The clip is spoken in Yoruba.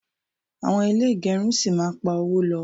awon ile igerun si ma ma pa owo lo